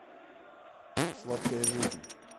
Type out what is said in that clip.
сладкая жизнь